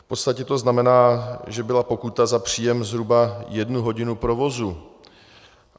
V podstatě to znamená, že byla pokuta za příjem zhruba jednu hodinu provozu.